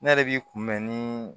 Ne yɛrɛ b'i kun bɛn ni